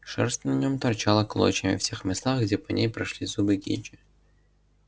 шерсть на нём торчала клочьями в тех местах где по ней прошлись зубы кичи